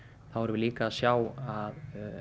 þá erum við að sjá að